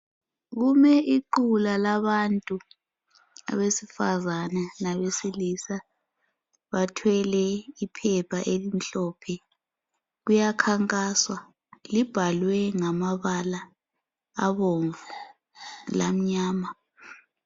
Kulequla labantu abesifazane labesilisa bathwele iphepha elimhlophe kuyakhankasa libhalwe ngamabala abomvu lamnyama.